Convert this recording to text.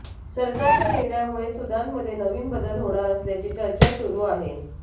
सरकारच्या निर्णयामुळे सुदानमध्ये नवीन बदल होणार असल्याची चर्चा सुरू आहे